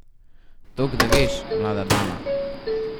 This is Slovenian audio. Tok da veš, mlada dama.